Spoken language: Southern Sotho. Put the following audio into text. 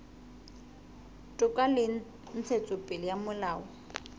toka le ntshetsopele ya molao